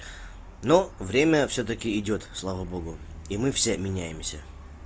но время всё-таки идёт слава богу и мы все меняемся